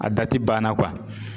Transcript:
A dati banna